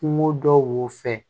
Kungo dɔw wo fɛ